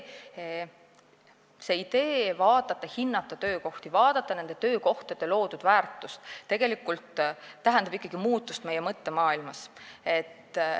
Aga idee vaadata ja hinnata töökohti ning vaadata nende töökohtade loodud väärtust tähendab ikkagi muutust meie mõttemaailmas.